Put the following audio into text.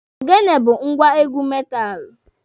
Ogene bụ ngwá egwu metaalụ.